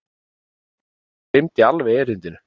Stjáni gleymdi alveg erindinu.